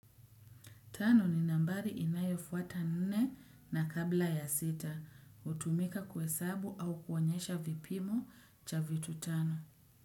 Tano ni nambari inayofuata nne na kabla ya sita. Utumika kuhesabu au kuonyesha vipimo cha vitu tano.